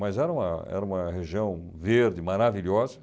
Mas era uma era uma região verde, maravilhosa.